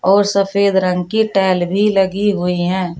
और सफेद रंग की टाइल भी लगी हुई है।